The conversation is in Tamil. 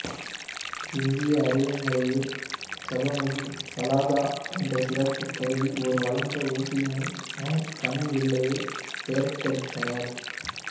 இந்திய அறுவைமுறையில் ஜபமுகி சாலகா என்ற சிறப்புக்கருவி ஓர் வளைந்த ஊசி மூலம் கண் வில்லையை பெயர்த்தெடுத்தனர்